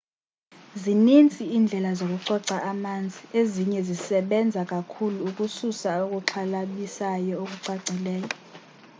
zinintsi indlela zokucoca manzi ezinye zisebenza kakhulu ukususa okuxhalabisayo okucacileyo